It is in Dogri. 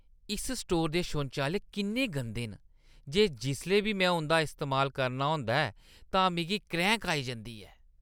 इस स्टोरै दे शौचालय इन्ने गंदे न जे जिसलै बी में उंʼदा इस्तेमाल करना होंदा ऐ तां मिगी क्रैंह्‌क आई जंदी ऐ।